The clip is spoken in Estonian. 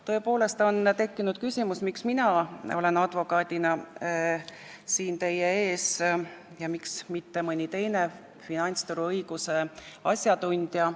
Tõepoolest on tekkinud küsimus, miks siin teie ees olen mina advokaadina, mitte mõni teine finantsturuõiguse asjatundja.